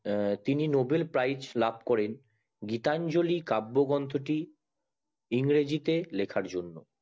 তিনি Nobel prize লাভকরেন গীতাঞ্জলি কাব্য গ্রন্থটি ইংরেজিতে লেখার জন্য